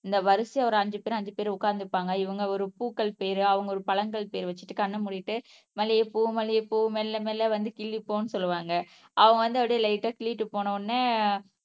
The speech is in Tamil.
இந்த வரிசையா ஒரு அஞ்சு பேர் அஞ்சு பேர் உட்கார்ந்து இருப்பாங்க இவங்க ஒரு பூக்கள் பேரு அவங்க ஒரு பழங்கள் பேரு வச்சுட்டு கண்ணை மூடிட்டு மல்லிகை பூ மல்லிகை பூ மெல்ல மெல்ல வந்து கிள்ளிப்போன்னு சொல்லுவாங்க அவுங்க வந்து அப்படியே லைட்டா கிள்ளிட்டு போன உடனே